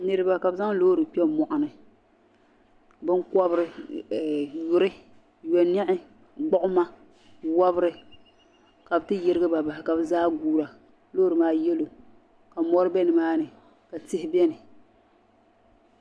Niriba ka bɛ zaŋ loori kpɛ moɣuni binkobri yuri yoniɣi gbiɣuma wobri ka bɛ ti yirigiba bahi ka bɛ zaa guura loori maa yelo ka mori bɛ nimaani ka tihi biɛni.